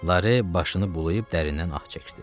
Lare başını bulayıb dərindən ah çəkdi.